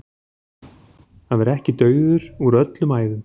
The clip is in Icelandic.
Að vera ekki dauður úr öllum æðum